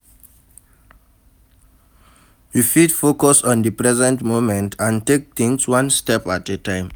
You fit focus on di present moment and take tings one step at a time.